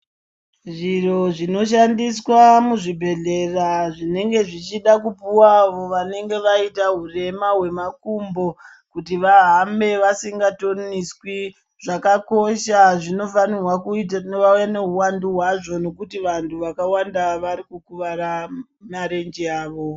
Zviro zvinoshandiswa muzvibhedhlera zvinenge zvichida kupuwa avo vanenge vaita hurema hwemakumbo kuti vahambe vasingatoniswi zvakakosha zvinofanirwa kuti vave nehuwandu hwazvo nokuti vantu vawanda vari kukuvara marenje avo.